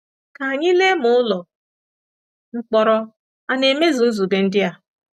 Ka anyị lee ma ụlọ mkpọrọ a na-emezu nzube ndị a.